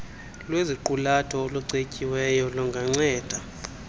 lweziqulatho olucetyiweyo lunganceda